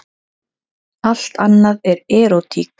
Allt annað er erótík.